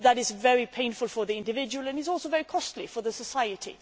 That is very painful for the individual and it is also very costly for society.